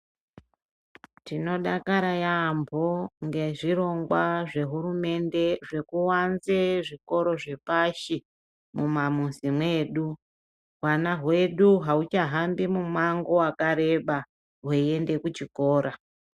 Tinodakara yambo, ngezvirongwa zvehurumende zvekuwanze zvikora zvepashi mumamuzi medu. Hwana hwedu haucha hambi mumango wakareba veyende kuchikora.